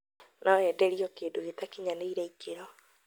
No enderio kĩndũ gĩtakinyanĩirie ikĩro